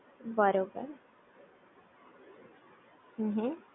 બરોબર હ હ